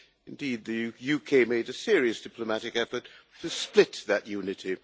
Indeed, the UK made a serious diplomatic effort to split that unity.